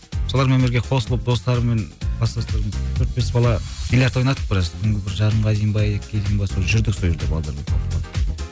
солармен бірге қосылып достарыммен кластастарыммен төрт бес бала биллиард ойнадық біраз түнгі бір жарымға дейін бе екіге дейін бе сол жүрдік сол жерде балдармен